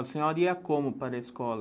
A senhora ia como para a escola?